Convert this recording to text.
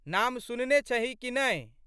नाम सुनने छहीं कि नहि?